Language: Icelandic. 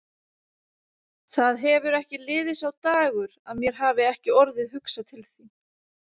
Það hefur ekki liðið sá dagur að mér hafi ekki orðið hugsað til þín.